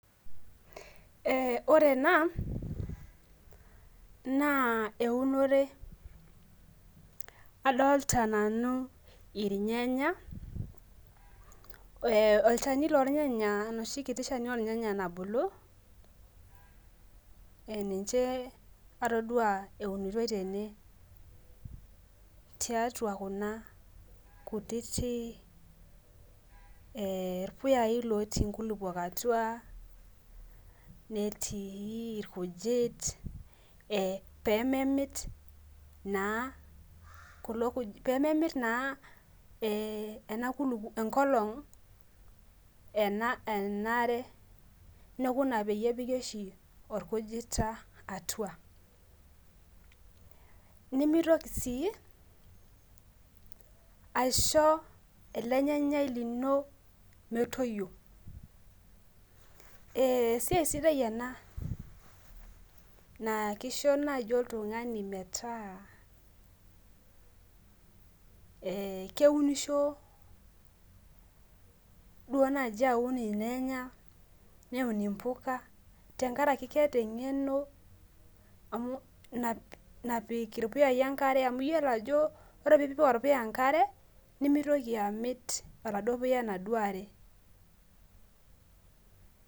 ore ena naa eunore adolta nanu ilnyanya olchani loo ilnyanya enoshi kiti shani oo ilnyanya nabulu niche atodua eunitoi tene, tiatua kuna puyai lotii inkulukuok atua netii ilkujit, pee memit naa enkong' enaare neeku ina oshi pee epiki ilkujita atua, nimitoki sii aisho ele nyanya lino metoyio, naa kisho naaji oltung'ani metaa keunisho duo naaji aun ilnyanya neun impuka tengaraki keeta eng'eno napik ilpuyai enkare amu iyiolo ajo ore pee ipik olpuya enkare nimitoki amit oladuo puya enkare.